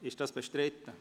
Wird dies bestritten?